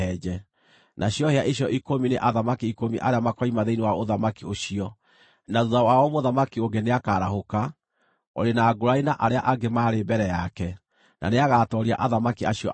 Nacio hĩa icio ikũmi nĩ athamaki ikũmi arĩa makoima thĩinĩ wa ũthamaki ũcio. Na thuutha wao mũthamaki ũngĩ nĩakarahũka, ũrĩ na ngũũrani na arĩa angĩ maarĩ mbere yake; na nĩagatooria athamaki acio atatũ.